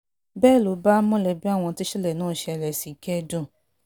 bẹ́ẹ̀ ló bá mọ̀lẹ́bí àwọn tíṣẹ̀lẹ̀ náà ṣẹlẹ̀ sí kẹ́dùn